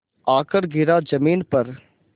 आकर गिरा ज़मीन पर